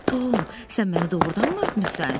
Tom, sən məni doğrudanmı öpmüsən?